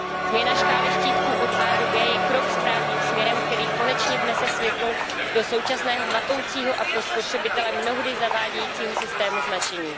Změna škály štítků od A do G je krok správným směrem, který konečně vnese světlo do současného matoucího a pro spotřebitele mnohdy zavádějícího systému značení.